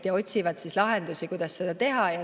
Nad otsivad lahendusi, kuidas seda teha.